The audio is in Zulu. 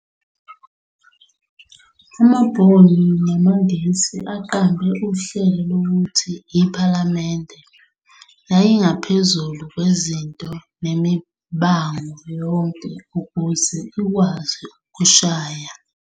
Amabhunu namaNgisi aqambe uhlelo lokuthi iPhalamende yayingaphezulu kwezinto nemibango yonke ukuze ikwazi ukushaya